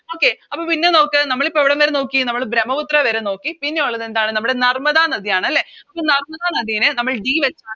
Okay പിന്നെ നമുക്ക് നമ്മളിപ്പോ എവിടംവരെ നോക്കി നമ്മള് ബ്രമ്മപുത്ര വരെ നോക്കി പിന്നെയുള്ളതെന്താണ് നമ്മുടെ നർമ്മദ നദിയാണ് അല്ലെ അപ്പൊ നർമ്മദ നദിയിനെ നമ്മള് D വെച്ച്